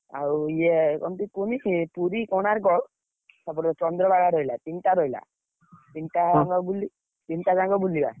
ଆଉ ଇଏ ଏମିତି କୁହନି ସେ ପୁରୀ କୋଣାର୍କ, ତାପରେ ଚନ୍ଦ୍ରଭାଗା ରହିଲା ତିନିଟା ରହିଲା ତିନିଟା ତିନିଟା ଜାଗା ବୁଲିବା।